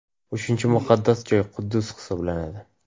Uchinchi muqaddas joy – Quddus hisoblanadi.